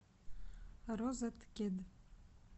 розеткед